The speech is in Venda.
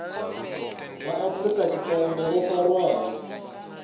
vha afrika tshipembe vho farwaho